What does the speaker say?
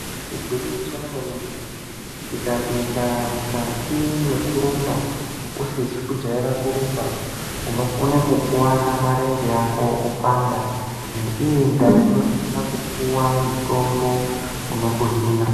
Igwinyiso remenemene, tikapinda mukati mekurumba usizi kujaira kurumba, unokone kukuwara marenje ako opanda neiyi ndaa unofana kupuwa mutombo unokuhina.